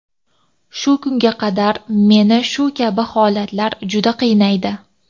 Shu kunga qadar meni shu kabi holatlar juda qiynaydi.